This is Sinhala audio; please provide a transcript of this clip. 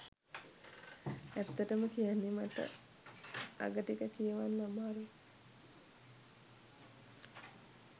ඇත්තටම කියන්නේ මට අග ටික කියවන්න අමාරුයි.